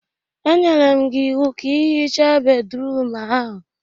E nyere m gị iwu ka ị hichaa bédrụum ahụ.